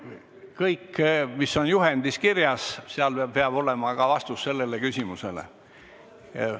Kõik peab olema juhendis kirjas, seal peab olema ka vastus sellele küsimusele.